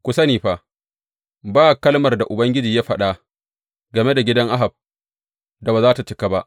Ku sani fa, ba kalmar da Ubangiji ya faɗa game da gidan Ahab da ba za tă cika ba.